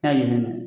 N'a ɲinɛna